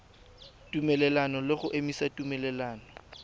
tumelelano le go emisa tumelelano